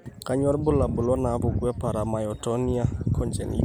Kainyio irbulabul onaapuku eParamyotonia congenita?